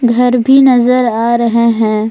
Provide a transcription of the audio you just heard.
घर भी नजर आ रहे है।